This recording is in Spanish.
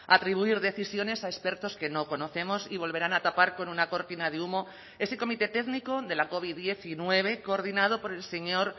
a atribuir decisiones a expertos que no conocemos y volverán a tapar con una cortina de humo ese comité técnico de la covid diecinueve coordinado por el señor